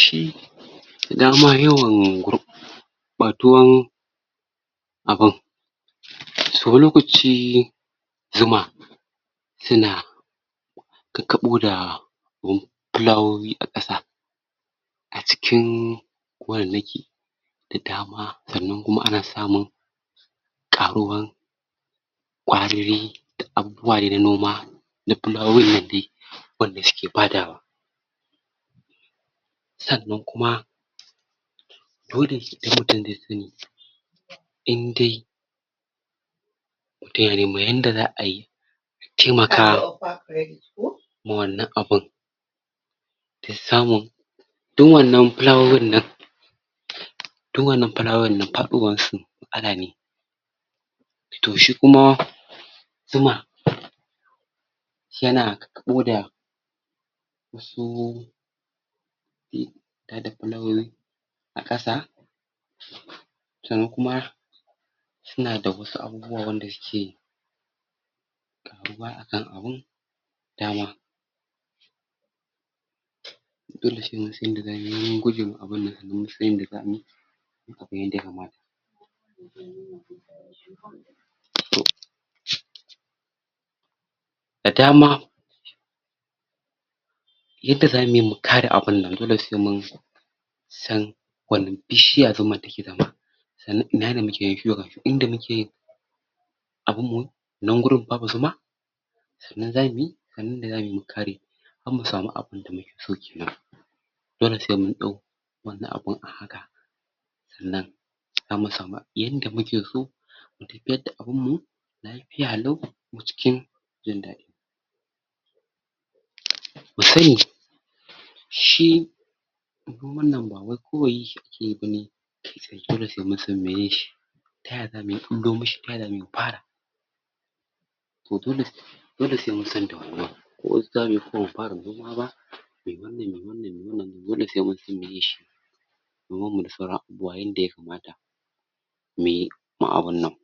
Shi dama yawan gurɓatuwan abun to lokaci zuma suna kakkaɓo da filawowi a ƙasa a cikin gonannaki da dama sannan kuma ana samun ƙaruwan ƙwariri ƙwariri noma na filawoyin lambu wanda suke badawa. Sannan kuma dole idan mutum dai sani, indai mutum yana neman yanda da ayi a taimaka ma wannan abun ta samun dun wannan filawoyin nan du wannan filawoyin nan faɗowan su matsala ne, matsala ne. To shi kuma zuma suna kakkaaɓo su tada filawoyi a ƙasa sannan kuma suna da wasu abubuwa wanda suke da duba akan abun. Dama dole se mun san yanda da mu yi wajen gwajijin abunnan a matsayin yanda zamuyi kaman yanda ya kamata. So da adama yada zamuyi mu kare abunnan dole se mun san wane bishiya zuman take zama sannan ina ne muke da su. Haka inda muke abun mu nan gurin babu zuma sannan zamu yi abun da zamuyi mu kare da mu samu abun da muke so. Kenan dole se mun ɗau wannan abu a haka sannan zamu samu yanda muke so tafiya da abun mu fiya lau kuma cikin jin daɗi. Ku sani shi du wannan ba wai kawai yake ganin se dole sai mun san me shi ta yaya zamu ɓullo mishi, ta yaya za mu yi mu fara, to dole dole se mun san da wannan ko wasu zamuyi ko bamu fara me wannan, me wannan, me wannan dole se mun san me shi yanda ya kamata. Me kuma abunnan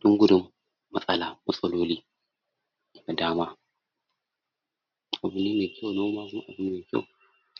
dun gudu matsala matsaloli da dama. Abu ne me kyau, noman aiki ne me kyau.